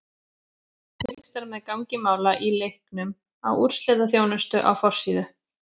Fylgst er með gangi mála í leiknum í úrslitaþjónustu á forsíðu.